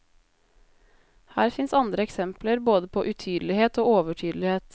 Her fins andre eksempler både på utydelighet og overtydelighet.